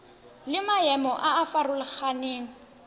le maemo a a farologaneng